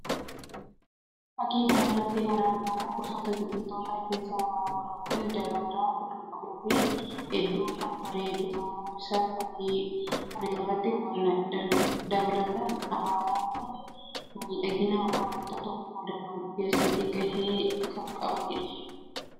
Fakkii kana irratti kan argamu gosoota biqilootaa keessaa abaaboo dha. Kunis daraaraa kan qabuu fi hedduu kan bareedu ta'u isaa fakkii kana irraa hubanna. Dabalataan abaaboon kun miidhagina wanta tokkoo dabaluu keessatti gahee kan qabanii dha.